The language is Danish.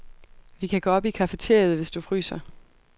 Vi kan gå op i cafeteriet, hvis du fryser.